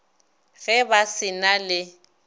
ge ba se na le